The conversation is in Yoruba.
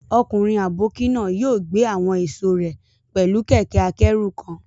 Ọkùnrin àbókí náà yóò gbé àwọn èso rẹ̀ pẹ̀lú kẹ̀kẹ́-akẹ́rù kan